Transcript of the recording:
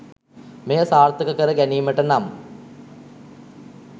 මෙය සාර්ථක කර ගැනීමට නම්